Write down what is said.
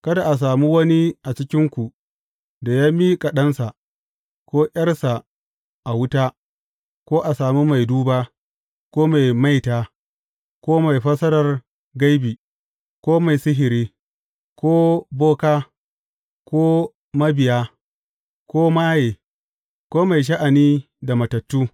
Kada a sami wani a cikinku da ya miƙa ɗansa, ko ’yarsa a wuta, ko a sami mai duba, ko mai maita, ko mai fassara gaibi, ko mai sihiri, ko boka, ko mabiya, ko maye, ko mai sha’ani da matattu.